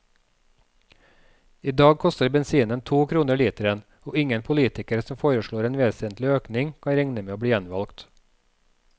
I dag koster bensinen to kroner literen, og ingen politiker som foreslår en vesentlig økning, kan regne med å bli gjenvalgt.